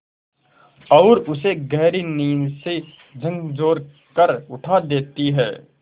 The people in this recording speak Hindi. और उसे गहरी नींद से झकझोर कर उठा देती हैं